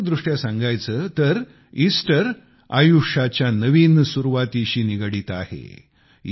प्रतीकात्मक दृष्ट्या सांगायचे तर ईस्टर आयुष्याच्या नवीन सुरुवातीशी निगडित आहे